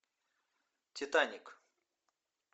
титаник